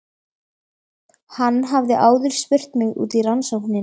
Hann hafði áður spurt mig út í rannsóknina.